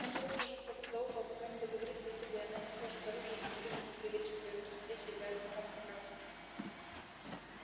он будет кружить вокруг да около пока не заговорит ей зубы и она не сложит оружия и не велит ему приберечь своё красноречие для адвокатской практики